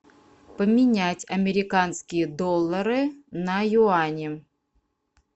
поменять американские доллары на юани